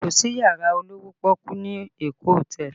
Kò sí yàrá olówó pọ́ọ́kú ní Èkó hotel